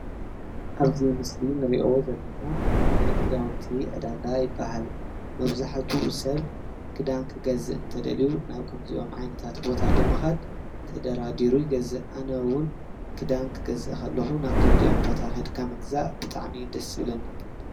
ኣብዚ ምስሊ ንርእዮ ዘለና ናይ ክዳውንቲ ዕዳጋ ይበሃል፡፡ መብዛሕትኡ ሰብ ክዳን ክገዝእ እንተደልዩ ናብ ከምዚኦም ዓይነታት ቦታ ብምኻድ ተደራዲሩ ይገዝእ፡፡ ኣነውን ክዳን ክገዝ ከለኹ ናብ ከምዚኦም ቦታ ከይድካ ምግዛእ ብጣዕሚ ደስ ይብለኒ፡፡